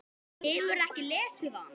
Hefurðu ekki lesið hann?